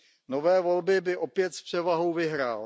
Nové volby by opět s převahou vyhrál.